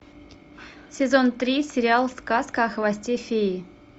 сезон три сериал сказка о хвосте феи